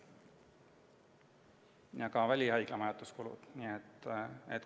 Lisanduvad välihaigla majutuse kulud.